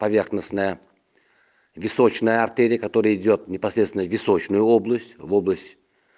поверхностная височная артерия которая идёт непосредственно в височную область в область